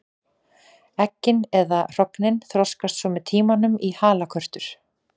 Eggin eða hrognin þroskast svo með tímanum í halakörtur.